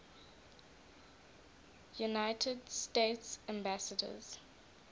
united states ambassadors